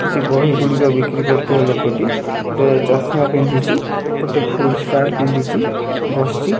କିଛି ବହି ଗୁଡ଼ିକ ବିକ୍ରି କରୁଥିବା ଲୋକଟି ଗୋଟେ ଚଷମା ପିନ୍ଧିଚି ଗୋଟେ ଫୁଲ୍ ସାର୍ଟ ପିନ୍ଧିଚି ବସିଚି।